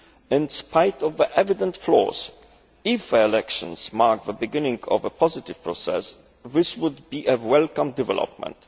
In spite of the evident flaws, if the elections mark the beginning of a positive process, this will be a welcome development.